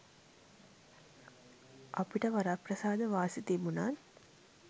අපිට වරප්‍රසාද වාසි තිබුණත්